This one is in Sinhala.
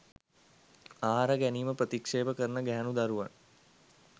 ආහාර ගැනීම ප්‍රතික්ෂේප කරන ගැහැනු දරුවන්